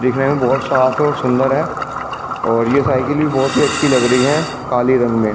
दिखने में बहुत साफ है और सुंदर है और ये साइकिल भी बहुत ही अच्छी लग रही है काली रंग में ।